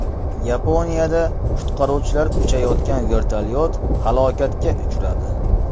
Yaponiyada qutqaruvchilar uchayotgan vertolyot halokatga uchradi.